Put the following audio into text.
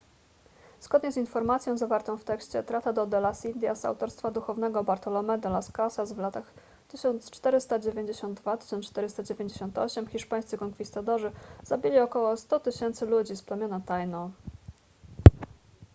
zgodnie z informacją zawartą w tekście tratado de las indias autorstwa duchownego bartolomé de las casas w latach 1492–1498 hiszpańscy konkwistadorzy zabili około 100 000 ludzi z plemienia taíno